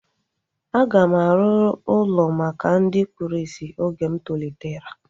A ga m arụ ụlọ maka ndị kpụrụ isi oge m tolitere